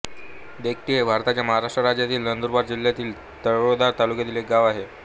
देकटी हे भारताच्या महाराष्ट्र राज्यातील नंदुरबार जिल्ह्यातील तळोदा तालुक्यातील एक गाव आहे